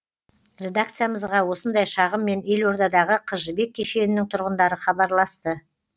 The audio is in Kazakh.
редакциямызға осындай шағыммен елордадағы қыз жібек кешенінің тұрғындары хабарласты